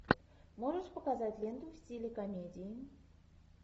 можешь показать ленту в стиле комедии